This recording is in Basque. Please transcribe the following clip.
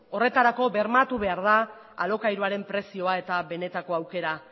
horretarako bermatu behar da alokairuaren prezioa eta benetako aukera